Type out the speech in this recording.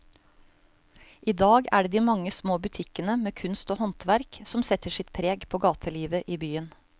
I dag er det de mange små butikkene med kunst og håndverk som setter sitt preg på gatelivet i byen.